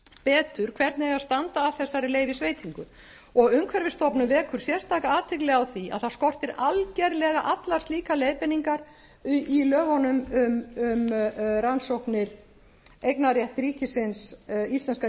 betur hvernig eigi að standa að þessari leyfisveitingu og umhverfisstofnun vekur sérstaka athygli á því að það skortir algerlega allar slíkar leiðbeiningar í lögunum um rannsóknir á eignarrétti íslenska